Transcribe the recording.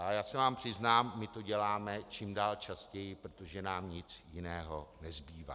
Ale já se vám přiznám, my to děláme čím dál častěji, protože nám nic jiného nezbývá.